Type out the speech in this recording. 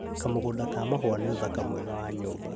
Kamũgũnda ka mahũa nĩ ũthaka mwega wa nyũmba